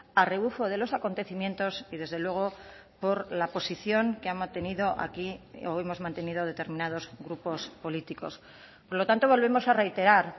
a rebufo de los acontecimientos y desde luego por la posición que ha mantenido aquí o hemos mantenido determinados grupos políticos por lo tanto volvemos a reiterar